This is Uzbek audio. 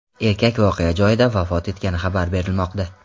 Erkak voqea joyida vafot etgani xabar berilmoqda.